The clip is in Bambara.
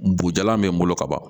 Bujalan be n bolo ka ban